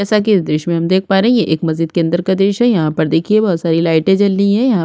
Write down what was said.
जैसा की इस दृश्य में हम देख पा रहे है यह एक मस्जिद के अंदर का दृश्य है यहाँ पर देखिये बहुत सारी लाइटे जल रही है यहाँ --